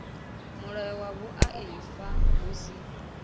mulayo wa vhuaifa hu si